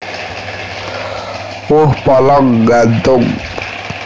Woh polong nggantung